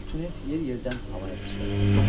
Çoxlu tunes yer-yerdən havaya sıçradı.